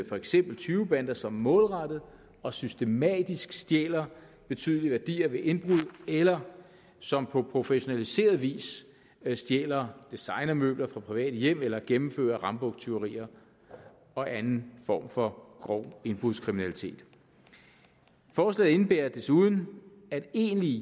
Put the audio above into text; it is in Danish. for eksempel tyvebander som målrettet og systematisk stjæler betydelige værdier ved indbrud eller som på professionaliseret vis stjæler designermøbler fra private hjem eller gennemfører rambuktyverier og anden form for grov indbrudskriminalitet forslaget indebærer desuden at egentlige